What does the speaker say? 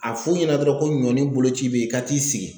A f'u ɲɛna dɔrɔn ko ɲɔni boloci be yen ka t'i sigi.